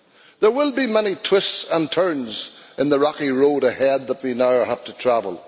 There will be many twists and turns on the rocky road ahead that we now have to travel.